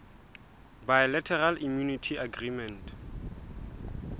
bilateral immunity agreement